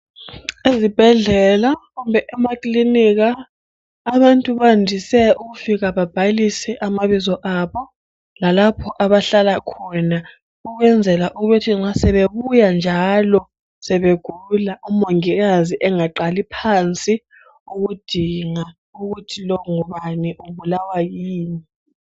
Ezibhedlela kumbe emakilinika abantu bandise ukufika bebhalise amabizo abo lalapho abahlala khona ukwenzela ukuthi nxa sebebuya njalo sebegula umongikazi engaqali phansi ukudinga ukuthi lo ngubani ubulawa yini.